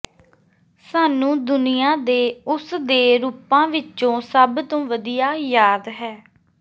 ਸਾਨੂੰ ਦੁਨੀਆ ਦੇ ਉਸ ਦੇ ਰੂਪਾਂ ਵਿੱਚੋਂ ਸਭ ਤੋਂ ਵਧੀਆ ਯਾਦ ਹੈ